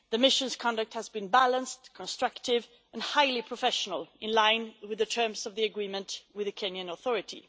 The mission's conduct has been balanced, constructive and highly professional, in line with the terms of the agreement with the Kenyan authority.